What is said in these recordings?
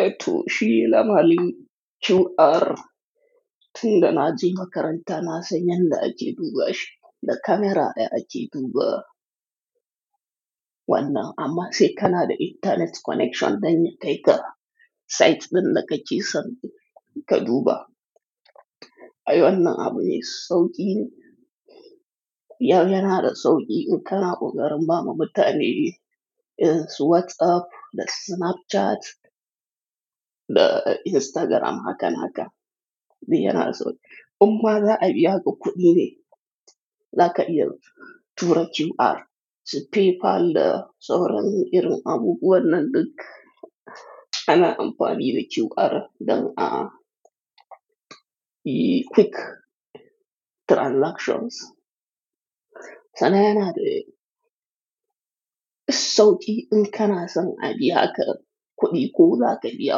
Eetu shii lamarin QR tin da naje makarantaa naasanyaa da’ake dubashi da kameeraa ai’a ke dubawa. Wanna ammasai kana da internet connection danyaa kaikaa site din da kakeson ka duubaa. Ai wannan abu mai sauqine yoo yanaa da sawqii in kanaa qoqarin baama mutane irinWhatsApp da Snapchat da Instagram haaka naaka ni yanaa sawqii. Umma za abiyaka kuudine zaka iya tura QR su PayPal da sawran irin abubuwanan duk ana ampani da QR dan aa a quick transactions. Sana, a yana da sauƙi in kana son abiya ka kuɗi ko zaka biya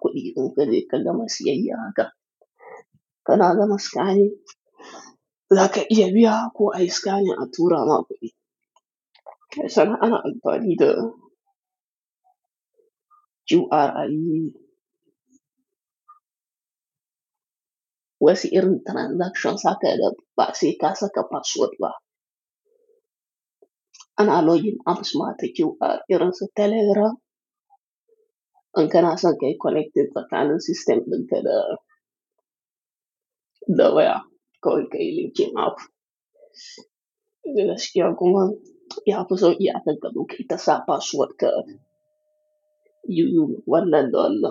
kuɗi in kaje kagama siyayya haka kana gama siyan zaka iya biya ko ayi scanning aturama kuɗi. Kar sanaa anaa ampaanii da QR ayii wassi irin transactions akaye da baasi kaasa ka password ba. Anaa login apps maatii QR iransa telegram in kanaa san kayi connecting tsakanin system din kanaa da waya kawai kayi linking app. Gaskiya kuma yafi sauki ankan ka zo kayi tasaa password ka yuujii wanan lalla.